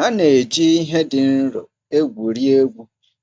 Ha na-eji ihe dị nro egwuri egwu